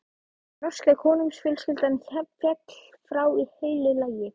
Norska konungsfjölskyldan féll frá í heilu lagi.